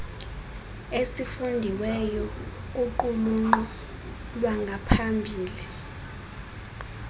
esifundiweyo kuqulunqo lwangaphambili